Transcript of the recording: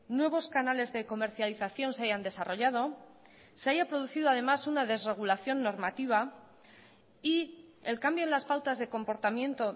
nuevos canales de comercialización se hayan desarrollado se haya producido además una desregulación normativa y el cambio en las pautas de comportamiento